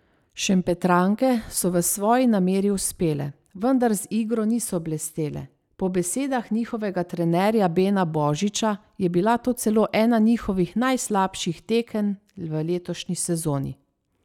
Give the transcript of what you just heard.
Šempetranke so v svoji nameri uspele, vendar z igro niso blestele, po besedah njihovega trenerja Bena Božiča je bila to celo ena njihovih najslabših tekem v letošnji sezoni.